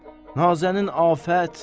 Nazənin Afət.